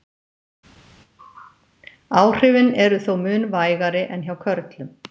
Áhrifin eru þó mun vægari en hjá körlum.